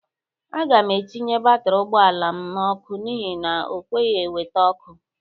Aga m etinye batiri ụgbọala m n'ọkụ n'ihi na o kweghi eweta ọkụ.